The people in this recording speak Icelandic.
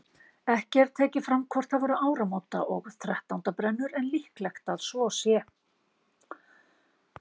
Ekki er tekið fram hvort það voru áramóta- og þrettándabrennur en líklegt að svo sé.